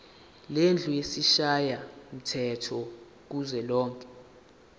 lendlu yesishayamthetho kuzwelonke